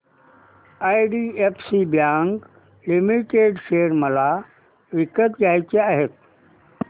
IDFC bank limited share मला विकत घ्यायचे आहेत